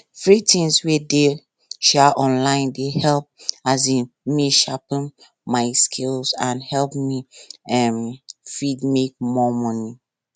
free things wey dey um online dey help um me sharpen my skills and make me um fit make more money